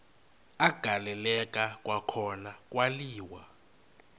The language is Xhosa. agaleleka kwakhona kwaliwa